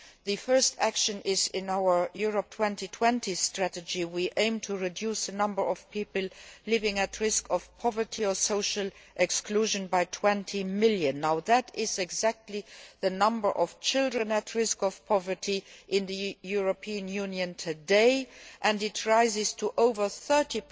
The first action is in our Europe 2020 strategy. We aim to reduce the number of people living at risk of poverty or social exclusion by 20 million. This is exactly the number of children at risk of poverty in the European Union today, and the figure rises to over 30